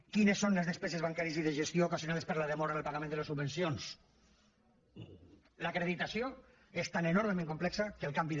quines són les despeses bancàries i de gestió ocasionades per la demora en el pagament de les subvencions l’acreditació és tan enormement complexa que el canvi de